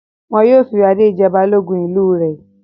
Wọn yóò fi Adé jẹ Balógun ìlú rẹ̀.